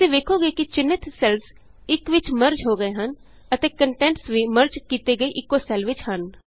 ਤੁਸੀਂ ਵੇਖੋਗੇ ਕਿ ਚਿੰਨ੍ਹਿਤ ਸੈੱਲਸ ਇਕ ਵਿਚ ਮਰਜ ਹੋ ਗਏ ਹਨ ਅਤੇ ਕੰਟੈਂਟਸ ਵੀ ਮਰਜ ਕੀਤੇ ਗਏ ਇਕੋ ਸੈੱਲ ਵਿਚ ਹਨ